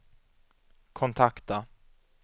kontakta